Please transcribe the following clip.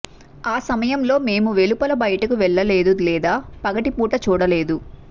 ఆ సమయంలో మేము వెలుపల బయటికి వెళ్ళలేదు లేదా పగటిపూట చూడలేదు